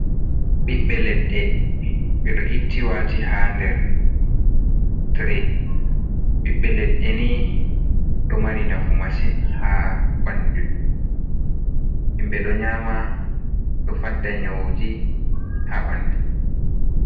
Ɓiɓɓe leɗɗe ɓe ɗo itti waati haa nder tire. Ɓiɓɓee leɗɗe ni ɗo mari nafu masin haa ɓalli .Himɓe ɗo nyaama ɗo fadda nyawuji haa ɓalli.